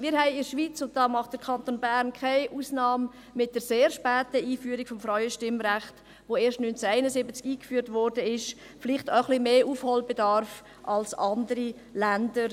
Wir haben in der Schweiz – der Kanton Bern macht keine Ausnahme – mit der sehr späten Einführung des Frauenstimmrechts, das erst 1971 eingeführt wurde, vielleicht etwas mehr Nachholbedarf als andere Länder.